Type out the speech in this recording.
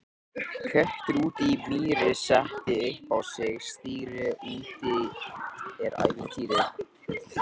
Köttur úti í mýri, setti upp á sig stýri, úti er ævintýri!